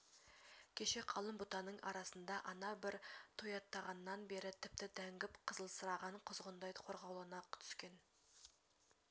кеше қалың бұтаның арасында ана бір тояттағаннан бері тіпті дәнгіп қызылсыраған құзғындай қорқаулана түскен